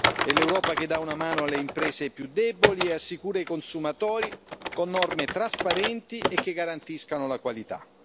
È l'Europa che dà una mano alle imprese più deboli e assicura ai consumatori norme trasparenti e che garantiscano la qualità.